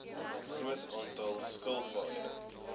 groot aantal skilpaaie